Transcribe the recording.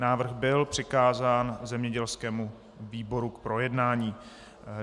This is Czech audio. Návrh byl přikázán zemědělskému výboru k projednání.